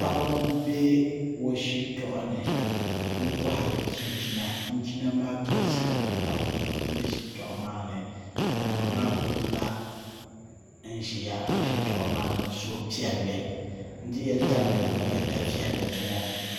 Paɣa n bɛ o shitoɣu ni n kohari chinchina chinchina maa galisiya pam n bɛ shitoɣu maa ni ka ma maa kuli la n ʒiya o shitoɣu maa ni ni suhupiɛlli n dihiya tabili ni o nyɛ da viɛlli zuŋo